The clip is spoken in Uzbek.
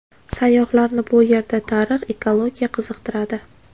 Sayyohlarni bu yerda tarix, ekologiya qiziqtiradi.